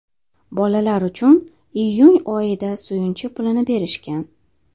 Bolalar uchun iyun oyida suyunchi pulini berishgan.